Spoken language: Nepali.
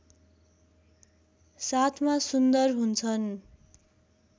साथमा सुन्दर हुन्छन्